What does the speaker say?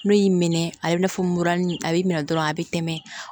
N'o y'i minɛ a b'i n'a fɔ mura a b'i minɛ dɔrɔn a bɛ tɛmɛ